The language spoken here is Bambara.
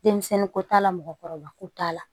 Denmisɛnninko t'a la mɔgɔkɔrɔba ko t'a la